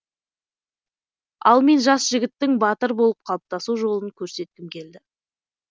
ал мен жас жігіттің батыр болып қалыптасу жолын көрсеткім келді